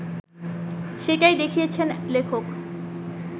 সেটাই দেখিয়েছেন লেখক